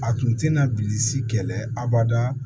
A tun tɛna bilisi kɛlɛ abada